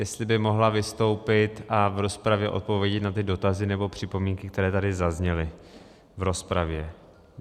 Jestli by mohla vystoupit a v rozpravě odpovědět na ty dotazy nebo připomínky, které tady zazněly, v rozpravě.